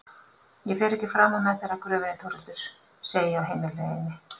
Ég fer ekki framar með þér að gröfinni Þórhildur, segi ég á heimleiðinni.